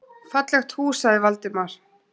Fallegt hús sagði Valdimar.